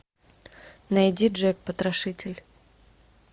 найди джек потрошитель